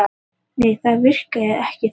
Nei það virkaði ekki þannig.